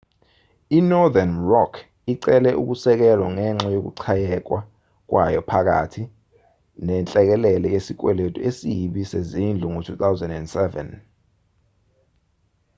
inorthern rock icele ukusekelwa ngenxa yokuchayeka kwayo phakathi nenhlekelele yesikweletu esibi sezindlu ngo-2007